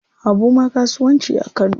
Habu ma kasuwanci a Kano.